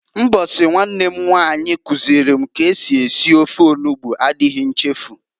Mbosi nwanne m nwanyi kuziili m ka esi ete ofe onugbu adighi nchefu.